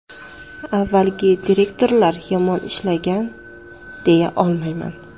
Avvalgi direktorlar yomon ishlagan, deya olmayman.